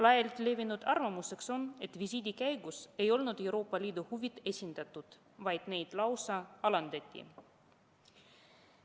Laialt levinud arvamus on see, et visiidi käigus ei olnud Euroopa Liidu huvid esindatud, vaid neid lausa alandati.